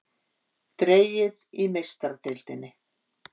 Dregið í Meistaradeildinni